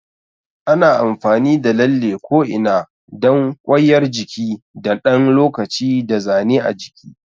Ana amfani da lalle ko'ina dan kwaiyar jiki na ɗan lokaci da zane a jiki.